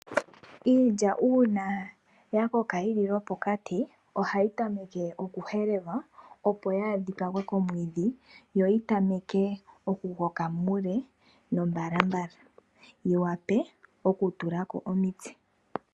Iilya uuna ya koka yili lwopokati, ohayi temekwa oku helelwa opo yaa dhipagwe komwiidhi, yo yi tameke oku koka muule nombalambala , yi wape oku tulako omitse.